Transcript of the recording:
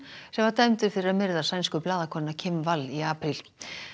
sem var dæmdur fyrir að myrða sænsku blaðakonuna Kim Wall í apríl